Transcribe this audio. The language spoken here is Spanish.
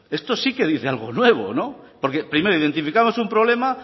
esto sí que dice algo nuevo porque primero identificamos un problema